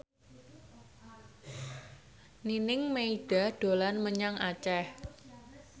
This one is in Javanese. Nining Meida dolan menyang Aceh